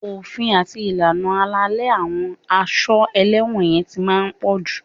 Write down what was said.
Òfin àti ìlànà àlàálẹ̀ àwọn a ṣọ́ ẹlẹ́wọ̀n yẹn ti máa ń pọ̀jù